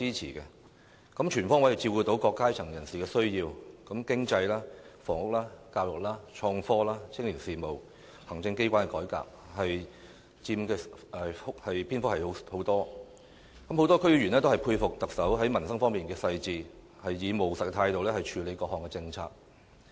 施政報告全方位照顧各階層人士的需要，而經濟、房屋、教育、創科、青年事務和行政機關的改革所佔篇幅很多，很多區議員也佩服特首在民生方面的細緻，以務實的態度處理各項政策。